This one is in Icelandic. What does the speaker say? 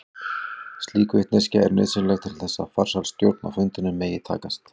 Slík vitneskja er nauðsynleg til þess að farsæl stjórn á fundinum megi takast.